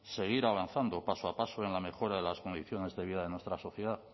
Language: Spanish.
seguir avanzando paso a paso en la mejora de las condiciones de vida de nuestra sociedad